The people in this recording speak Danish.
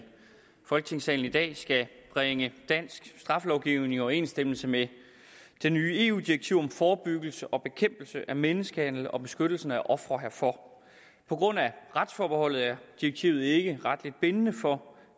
folketingssalen i dag skal bringe dansk straffelovgivning i overensstemmelse med det nye eu direktiv om forebyggelse og bekæmpelse af menneskehandel og beskyttelse af ofrene herfor på grund af retsforbeholdet er direktivet ikke retligt bindende for